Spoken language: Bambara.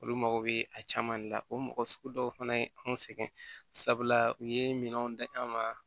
Olu mago bɛ a caman de la o mɔgɔ sugu dɔw fana ye anw sɛgɛn sabula u ye minɛnw da an ma